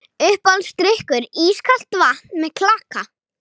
Uppáhaldsdrykkur: ískalt vatn með klaka